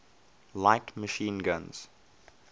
light machine guns